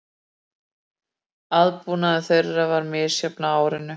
Aðbúnaður þeirra var misjafn á árinu